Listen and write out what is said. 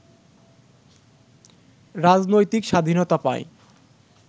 রাজনৈতিক স্বাধীনতা পায়